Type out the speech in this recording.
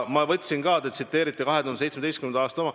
Teie tsitaat oli 2017. aasta kohta.